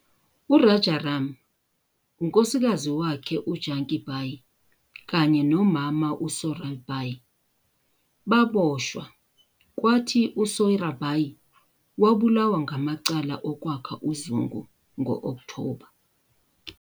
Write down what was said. URajaram, unkosikazi wakhe uJanki Bai, kanye nomama uSoyrabai baboshwa, kwathi uSoyrabai wabulawa ngamacala okwakha uzungu ngo-Okthoba.